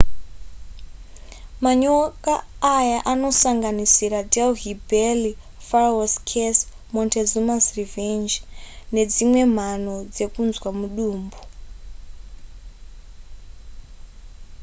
manyoka aya anosanganisira delhi belly pharaoh' curse montezuma's revenge nedzimwewo mhano dzekunzwa mudumbu